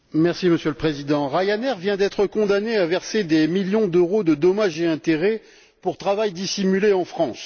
Monsieur le Président, Ryanair vient d'être condamné à verser des millions d'euros de dommages et intérêts pour travail dissimulé en France.